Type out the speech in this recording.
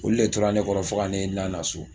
Olu de tora ne kɔrɔ fo ka ne lana so